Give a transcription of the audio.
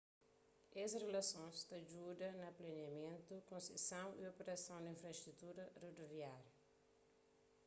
es rilasons ta djuda na planiamentu konseson y operason di infrastruturas rodoviáriu